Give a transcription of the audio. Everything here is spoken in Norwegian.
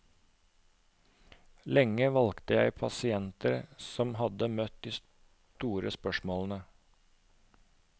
Lenge valgte jeg pasienter som hadde møtt de store spørsmålene.